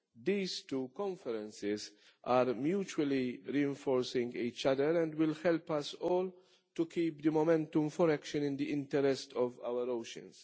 These two conferences are mutually reinforcing each other and will help us all to keep the momentum for action in the interest of our oceans.